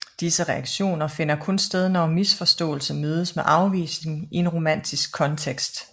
Disse reaktioner finder kun sted når misforståelse mødes med afvisning i en romantisk kontekst